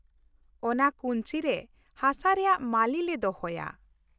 ᱚᱱᱟ ᱠᱩᱧᱪᱤ ᱨᱮ ᱦᱟᱥᱟ ᱨᱮᱭᱟᱜ ᱢᱟᱹᱞᱤ ᱞᱮ ᱫᱚᱦᱚᱭᱟ ᱾